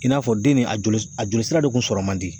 I n'a fɔ den nin a joli, a joli sira de kun sɔrɔ man di